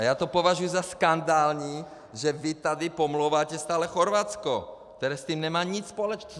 A já to považuji za skandální, že vy tady pomlouváte stále Chorvatsko, které s tím nemá nic společného.